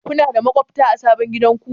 Kuna da maƙwabta a sabon gidanku?